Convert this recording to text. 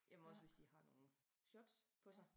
Jamen også hvis de har nogen shots på sig